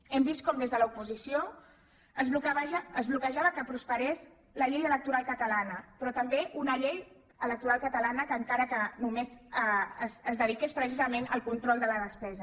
hem vist com des de l’oposició es bloquejava que prosperés la llei electoral catalana però també una llei electoral catalana encara que només es dediqués precisament al control de la despesa